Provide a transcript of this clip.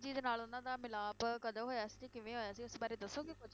ਜੀ ਦੇ ਨਾਲ ਉਹਨਾਂ ਦਾ ਮਿਲਾਪ ਕਦੋਂ ਹੋਇਆ ਸੀ, ਕਿਵੇਂ ਹੋਇਆ ਸੀ, ਇਸ ਬਾਰੇ ਦੱਸੋਗੇ ਕੁੱਝ?